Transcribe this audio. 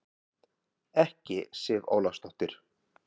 Ekki Sif Ólafsdóttir.